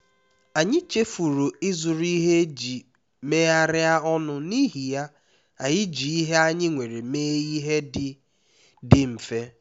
anyị chefuru ịzụrụ ihe eji megharịa ọnụ n’ihi ya anyị ji ihe anyị nwere mee ihe dị dị mfe